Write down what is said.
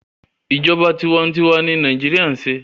Ìjọba tiwa n tiwa ni Nàíjíríà ń ṣe